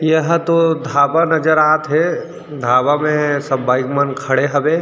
यह दो ढाबा नजर आथे ढाबा में सब बाइक मन खड़े हबे।